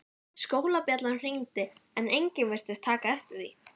Skólabjallan hringdi en enginn virtist taka eftir því.